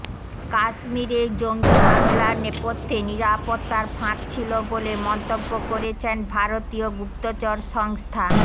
কাশ্মিরে জঙ্গি হমিলার নেপথ্যে নিরাপত্তার ফাঁক ছিল বলে মন্তব্য করেছেন ভারতীয় গুপ্তচর সংস্থা